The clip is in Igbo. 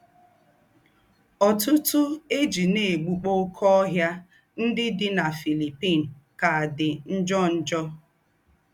Ọ̀tùtù̀ è jí ná-ègbùkpọ́ óké óhìà ńdị́ dị́ na Philippine kà dị́ njò. njò.